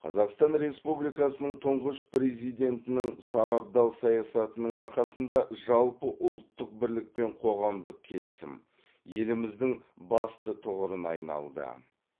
қазақстан республикасының тұңғыш президентінің сарабдал саясатының арқасында жалпыұлттық бірлік пен қоғамдық келісім еліміздің басты тұғырына айналды